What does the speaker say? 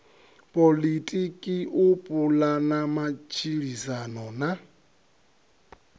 poḽotiki u pulana matshilisano na